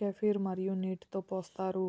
kefir మరియు నీటితో పోస్తారు